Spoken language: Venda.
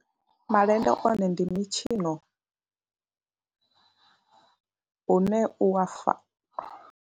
Malende one ndi mitshino une u a fa.